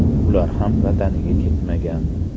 Ular ham vataniga ketmagan.